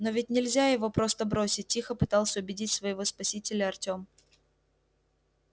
но ведь нельзя его просто бросить тихо пытался убедить своего спасителя артём